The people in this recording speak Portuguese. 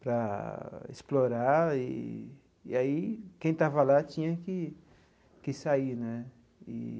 para explorar, e e aí quem estava lá tinha que que sair né e.